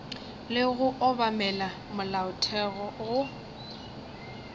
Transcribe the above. le go obamela molaotheo go